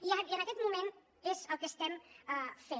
i en aquest moment és el que estem fent